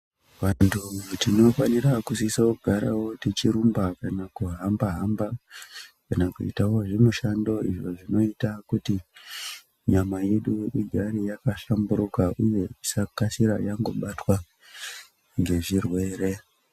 Vantu timofanira kusisowo kugara tichirumba kana kuhamba hamba kana kuitawo zvimushando izvo zvinoita kuti nyama yedu igare yakahlamburuka uye isakasira yangobatwa ngezvirwere.